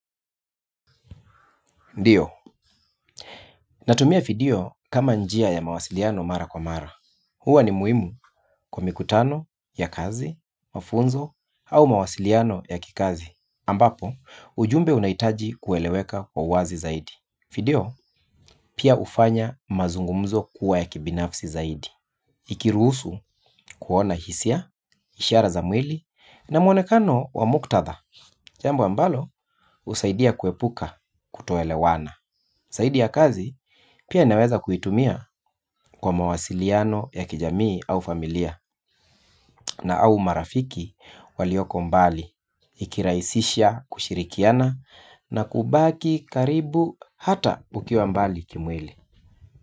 Ndiyo, natumia video kama njia ya mawasiliano mara kwa mara. Huwa ni muhimu kwa mikutano ya kazi, mafunzo au mawasiliano ya kikazi. Ambapo, ujumbe unahitaji kueleweka kwa uwazi zaidi. Video, pia hufanya mazungumzo kuwa ya kibinafsi zaidi. Ikiruhusu kuona hisia, ishara za mwili na mwonekano wa muktadha. Jambu ambalo, husaidia kuepuka kutoelewana. Zaidi ya kazi pia naweza kuitumia kwa mawasiliano ya kijamii au familia na au marafiki walioko mbali ikirahisisha kushirikiana na kubaki karibu hata ukiwa mbali kimwili.